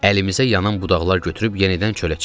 Əlimizə yanan budaqlar götürüb yenidən çölə çıxdıq.